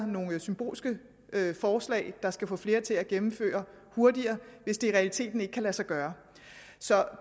nogle symbolske forslag der skal få flere til at gennemføre hurtigere hvis det i realiteten ikke kan lade sig gøre så